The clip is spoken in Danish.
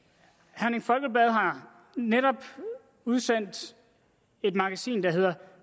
herning folkeblad har netop udsendt et magasin der hedder